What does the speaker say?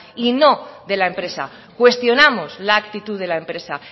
y no de la empresa cuestionamos la actitud de la empresa